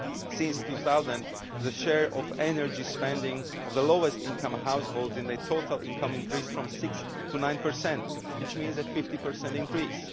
Since 2000, the share of energy spending of the lowest income households in their total income increased from 6 to 9, which means a 50 increase.